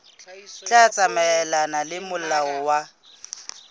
tla tsamaelana le molao wa